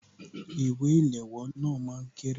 Ìwé ìléwọ́ náà máa kéré